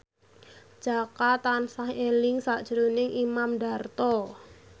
Jaka tansah eling sakjroning Imam Darto